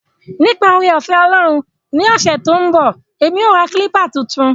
Nipa oore-ofe Olorun ni ose to n bo, emi o ra kilpa tuntun.